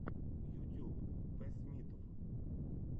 ютюб пэссмитв